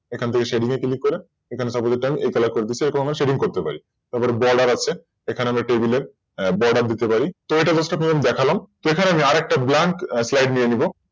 এখান থেক Shading এ Click করে এখানে Suppose আমি এটা এই Colour করে দিচ্ছি এভাবে আমরা Shadding করতে পারি তারপর Border আছে এখানে আমরা Table এর Border দিতে পারি তো এটা First of all দেখালাম তো এখানে আমি আরেকটা Blank slide নিয়ে নেব